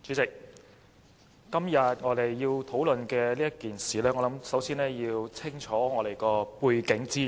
主席，對於今天要討論的事宜，我們首先要弄清楚背景資料。